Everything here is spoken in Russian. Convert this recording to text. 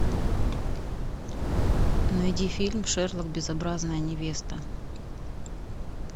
найди фильм шерлок безобразная невеста